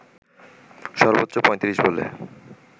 সর্বোচ্চ ৩৫ বলে